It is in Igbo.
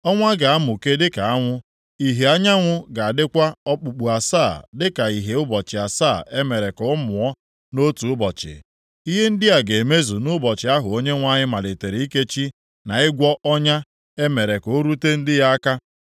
Ọnwa ga-amụke dịka anwụ, ìhè anyanwụ ga-adịkwa okpukpu asaa dịka ìhè ụbọchị asaa e mere ka ọ mụọ nʼotu ụbọchị! Ihe ndị a ga-emezu nʼụbọchị ahụ Onyenwe anyị malitere ikechi na ịgwọ ọnya o mere ka o rute ndị ya aka.